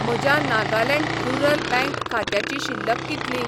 म्हज्या Nagaland rural bank खात्याची शिल्लक कितली?